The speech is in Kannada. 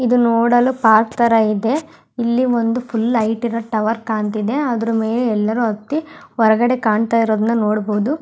ಇದು ನೋಡಲು ಪಾರ್ಕ್ ತರಹ ಇದೆ ಇಲ್ಲಿ ಒಂದು ಫುಲ್ ಲೈಟ್ ಇರೋ ಟವರ್ ಕಾಣ್ತಿದೆ ಅದ್ರ ಮೇಲೆ ಎಲ್ಲರೂ ಹತ್ತಿ ಹೊರಗಡೆ ಕಾಣ್ತಾ ಇರೋದನ್ನ ನೋಡಬಹುದು .